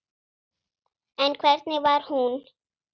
En hvernig var hún?